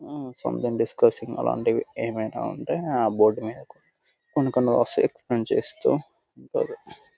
హు someone discoursing అలాంటివి ఏమైనా ఉంటె ఆ బోర్డు మీద కొన్ని కొన్ని వాటిని ఎక్స్ప్లెయిన్ చేస్తూ ఉంటారు .